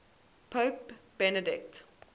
pope benedict